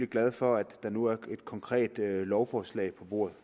glade for at der nu ligger et konkret lovforslag på bordet